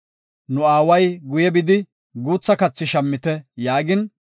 “Nu aaway, ‘Guye bidi guutha kathi shammite’ yaagin,